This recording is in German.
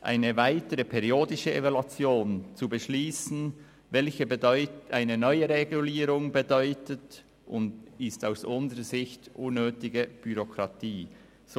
Eine weitere periodische Evaluation zu beschliessen, was eine weitere Regulierung bedeutet, stellt aus unserer Sicht unnötige Bürokratie dar.